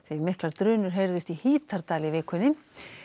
miklar drunur heyrðust í Hítardal í vikunni